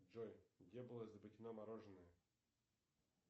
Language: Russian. джой где было изобретено мороженое